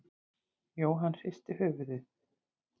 Jóhann hristi höfuðið.